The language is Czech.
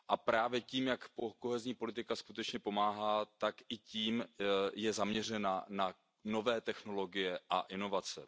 Právě tím, jak kohezní politika skutečně pomáhá, tak i tím je zaměřena na nové technologie a inovace.